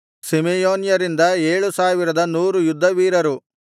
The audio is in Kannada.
ಸಿಮೆಯೋನ್ಯರಿಂದ ಏಳು ಸಾವಿರದ ನೂರು ಯುದ್ಧವೀರರು